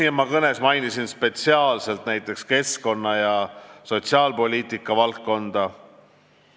Oma kõnes ma mainisin spetsiaalselt näiteks keskkonna- ja sotsiaalpoliitika valdkonda.